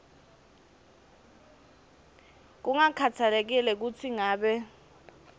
kungakhatsalekile kutsi ngabe